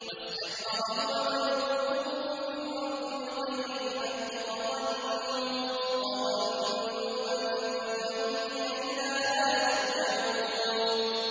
وَاسْتَكْبَرَ هُوَ وَجُنُودُهُ فِي الْأَرْضِ بِغَيْرِ الْحَقِّ وَظَنُّوا أَنَّهُمْ إِلَيْنَا لَا يُرْجَعُونَ